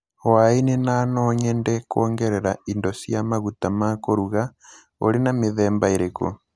hwainĩ na no nyende kuongerera indo cia maguta ma kũruga. ũrĩ na mĩthemba ĩrĩkũ?